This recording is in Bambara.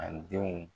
A denw